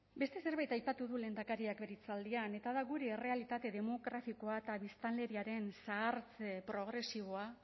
beste zerbait aipatu du lehendakariak bere hitzaldian eta da gure errealitate demografikoa eta biztanleriaren zahartze progresiboa